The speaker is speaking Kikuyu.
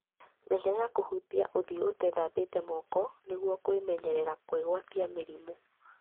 Menyerera kũhutia ũthio ũtethambĩtie moko nĩgũo kwĩmenyerera kwĩgwatia mĩrimũ.